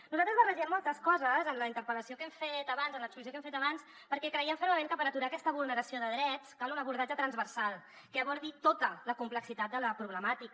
nosaltres barregem moltes coses en la interpel·lació que hem fet abans en l’exposició que hem fet abans perquè creiem fermament que per aturar aquesta vulneració de drets cal un abordatge transversal que abordi tota la complexitat de la problemàtica